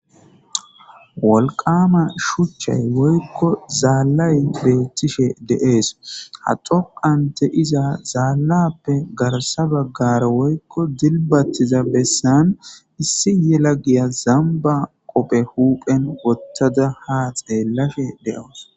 wolqama shuchchay woykko zaallay beettishe de7ees ha xoqante iza zaallappe garsa baggara woykko dilbattiza bessan issi yela giya zamba qophe huuphen wottada ha xeellashe deyoos